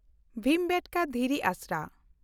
ᱵᱷᱤᱢᱵᱮᱴᱠᱟ ᱫᱷᱤᱨᱤ ᱟᱥᱨᱟ